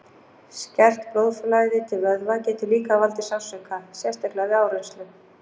Skert blóðflæði til vöðva getur líka valdið sársauka, sérstaklega við áreynslu.